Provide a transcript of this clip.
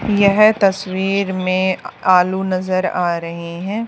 यह तस्वीर में आलू नजर आ रहे हैं।